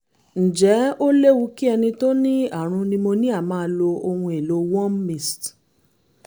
ǹjẹ́ ó léwu kí ẹni tó ní àrùn pneumonia máa lo ohun-èlò warm mist?